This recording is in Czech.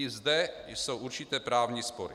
I zde jsou určité právní spory.